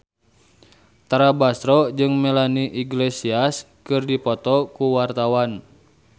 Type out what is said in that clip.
Tara Basro jeung Melanie Iglesias keur dipoto ku wartawan